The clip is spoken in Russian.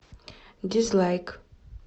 дизлайк